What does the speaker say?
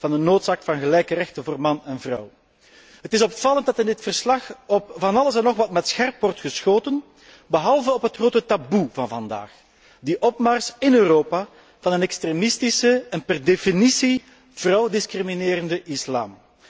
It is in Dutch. van de noodzaak van gelijke rechten voor man en vrouw. Het is opvallend dat in dit verslag op van alles en nog wat met scherp wordt geschoten, behalve op het grote taboe van vandaag, de opmars in Europa van een extremistische en per definitie vooral discriminerende islam.